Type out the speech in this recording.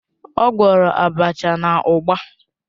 Ọ gwọrọ abacha na ugba.